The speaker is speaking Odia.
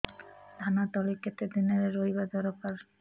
ଧାନ ତଳି କେତେ ଦିନରେ ରୋଈବା ଦରକାର